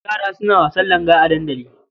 Yara suna wasan langa a dandali.